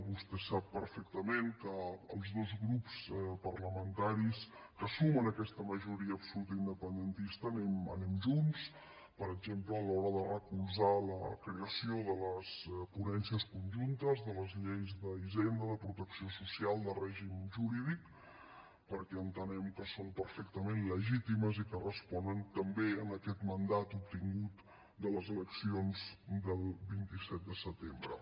vostè sap perfectament que els dos grups parlamentaris que sumen aquesta majoria absoluta independentista anem junts per exemple a l’hora de recolzar la creació de les ponències conjuntes de les lleis d’hisenda de protecció social de règim jurídic perquè entenem que són perfectament legítimes i que responen també a aquest mandat obtingut de les eleccions del vint set de setembre